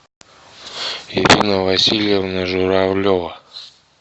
ирина васильевна журавлева